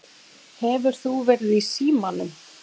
Hefur þú verið í símanum?